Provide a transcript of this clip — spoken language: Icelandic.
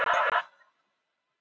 Við vorum traustir.